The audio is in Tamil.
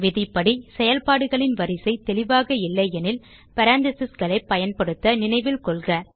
விதிப்படி செயல்பாடுகளின் வரிசை தெளிவாக இல்லையெனில் paranthesisகளை பயன்படுத்த நினைவில் கொள்க